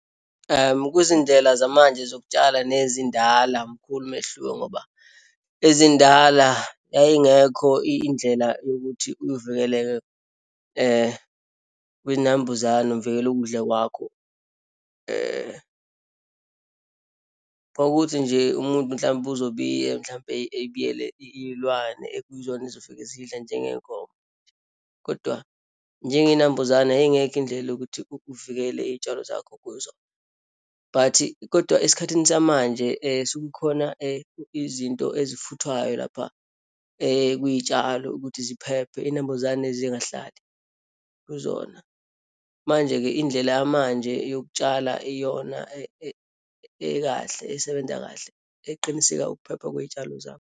Kuzindlela zamanje zokutshala nezindala mkhulu umehluko, ngoba ezindala yayingekho indlela yokuthi uyivikeleke kwiyinambuzane, uvikela ukudla kwakho. Kwakuthi nje umuntu, mhlawumbe uzobiya mhlampe ebiyele iyilwane ekuyizona ezofike zidle njengeyinkomo. Kodwa njengeyinambuzane yayingekho indlela yokuthi uvikele iyitshalo zakho kuzona, but kodwa esikhathini samanje sekukhona izinto ezifuthwayo lapha kwiyitshalo ukuthi ziphephe, iyinambuzane zingahlali kuzona. Manje-ke, indlela yamanje yokutshala iyona ekahle, esebenza kahle, eqiniseka ukuphepha kweyitshalo zakho.